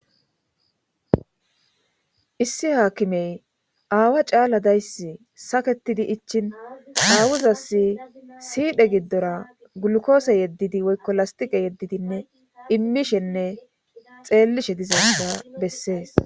issi haakimey aawa caala dayssi saketidi ichin haawuzas siidhe giddora gulkoose yeddidi woykko lastiqe yeddidinne immishenne xeellishe dizayda bessees